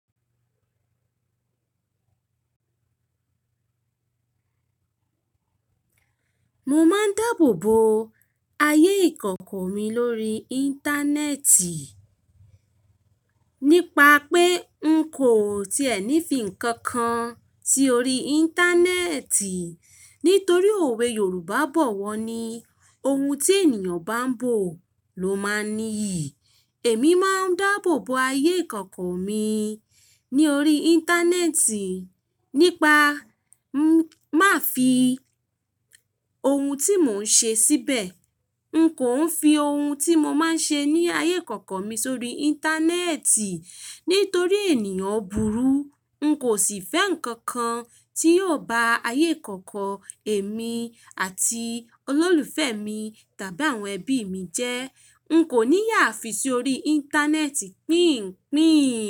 Mo máa ń dáàbò bo ayé ìkọ̀kọ̀ mi lórí Íńtánẹ́ẹ̀tì. Nípa pé n kò tiẹ̀ ní fi ǹkan kan tí ó rí Íńtánẹ́ẹ̀tì. Nítorí òwe Yorùbá bọ̀ wọ́ ni, "Ohun tí ènìyàn bá gbò ló máa ní iyì." Èmi máa ń dáàbò bo ayé ìkọ̀kọ̀ mi ní orí Íńtánẹ́ẹ̀tì. Nípa má fi ohun tí mò ń ṣe síbẹ̀. N kò ń fi ohun tí mo máa ń ṣe ní ayé ìkọ̀kọ̀ mi sórí Íńtánẹ́ẹ̀tì nítorí ènìyàn burú. N kò sì fẹ́ ǹkan kan tí yóò ba ayé ìkọ̀kọ̀ èmi àti olólùfẹ́ mi tàbí àwọn ẹbí mi jẹ́. N kò ní yà fi sórí Íńtánẹ́ẹ̀tì píń-pín.